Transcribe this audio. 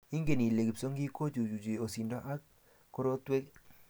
Ingen ile kipsongik kochuchuchi osindo ak korotwek?